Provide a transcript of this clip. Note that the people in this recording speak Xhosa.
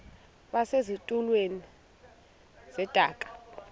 base zitulmeni zedaka